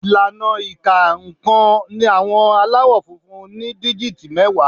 Ìlànà ìka nǹkan àwọn Aláwọ̀ funfun ni díjìtì mẹ́wàá